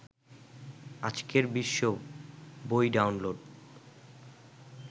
আজকের বিশ্ব বই ডাউনলোড